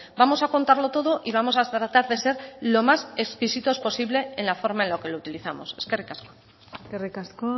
vamos a contarlo todo y vamos tratar de ser lo más exquisitos posible en las formas en que lo utilizamos eskerrik asko eskerrik asko